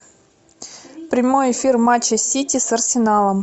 прямой эфир матча сити с арсеналом